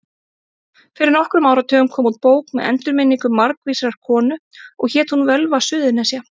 Fyrir nokkrum áratugum kom út bók með endurminningum margvísrar konu og hét hún Völva Suðurnesja.